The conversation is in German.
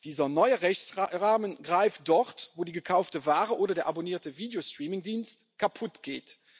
Dieser neue Rechtsrahmen greift dort, wo die gekaufte Ware oder der abonnierte Videostreamingdienst kaputtgeht.